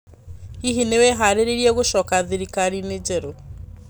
Hihi nĩ wĩharĩirie gũcoka thirikari-inĩ jerũ?